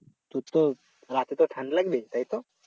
তোর তো রাতে তো ঠান্ডা লাগে তাইতো?